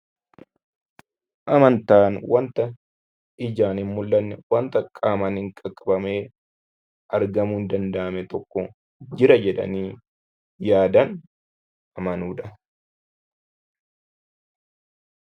Amantaan wanta ijaan hin mul'anne, wanta qaaman qaqqabamee argamuu hin danda'amne tokko jira jedhanii yaadaan amanuu dha.